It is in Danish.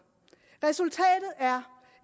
resultatet er